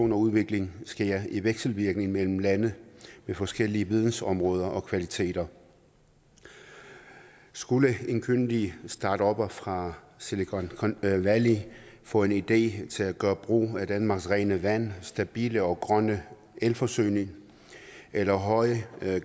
og udvikling sker i vekselvirkning mellem lande med forskellige vidensområder og kvaliteter skulle en kyndig startupper fra silicon valley få en idé til at gøre brug af danmarks rene vand stabile og grønne elforsyning eller høje